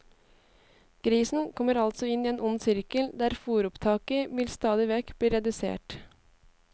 Grisen kommer altså inn i en ond sirkel der fôropptaket vil stadigvekk bli redusert.